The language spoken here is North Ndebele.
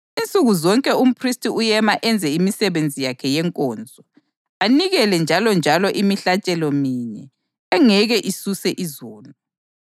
Njalo ngaleyontando senziwe saba ngcwele ngomhlatshelo womzimba kaJesu Khristu kanye kuphela.